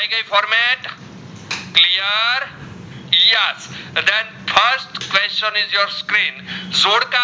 question is on screen જોડકા